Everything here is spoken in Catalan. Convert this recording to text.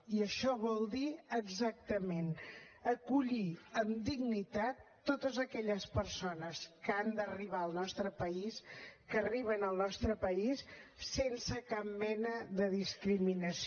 i això vol dir exactament acollir amb dignitat totes aquelles persones que han d’arribar al nostre país que arriben al nostre país sense cap mena de discriminació